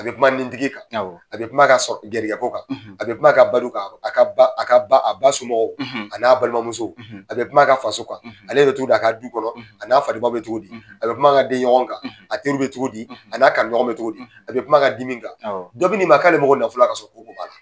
A bɛ kuma nin tigi kan a bɛ kuma ka sɔrɔ kan gariko kan a bɛ kuma ka balo kan a bɛ kuma a ba a ba somƆgƆw a n'a balimamusow a bɛ kuma ka faso kan ale bƐ cogo di a ka du kɔnɔ a n'a fa bɛ cogo di a bɛ kuma ka denɲɔgɔn kan a teri bɛ cogo di a n'a kanuɲɔgɔn bɛ cogo di a bɛ kuma ka dimi kan dɔ bini ma k'ale mago nafolo la k'a sƆrƆ ko b'a la